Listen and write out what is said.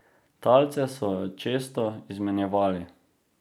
Talce so često izmenjevali.